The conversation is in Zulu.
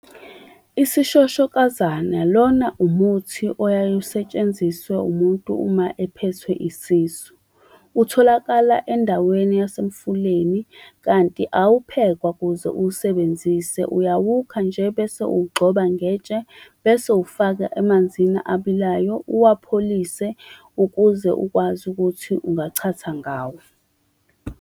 Isishoshokazana, lona umuthi oyaye usetshenziswe umuntu uma ephethwe isisu. Utholakala endaweni yasemfuleni, kanti awuphekwa kuze uwusebenzise. Uyawukha nje bese uwugxoba ngetshe, bese uwufaka emanzini abilayo, uwapholise ukuze ukwazi ukuthi ungachatha ngawo.